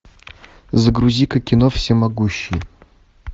загрузи ка кино всемогущий